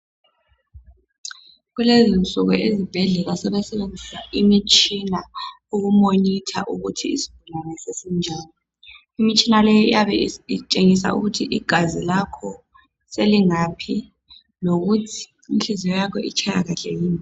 Kulezinsuku ezibhedlela sebesebenzisa imitshina ukumonitha ukuthi isigulane sesinjani. Imitshina leyi iyabe itshengisa ukuthi igazi lakho selingaphi lokuthi inhliziyo yakho itshaya kahle yini.